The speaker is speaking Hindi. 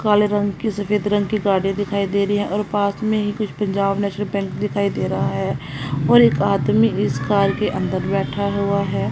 काले रंग की सफेद रंग की गाड़ी दिखाई दे री है और पास में ही कुछ पंजाब नेशनल बैंक दिखाई दे रहा है और एक आदमी इस कार के अंदर बैठा हुआ हैं।